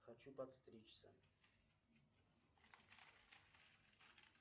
хочу подстричься